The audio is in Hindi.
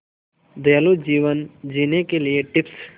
दयालु जीवन जीने के लिए टिप्स